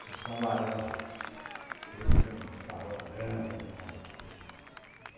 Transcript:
Fuscão Laranja, aquele que tem um farol grande atrás assim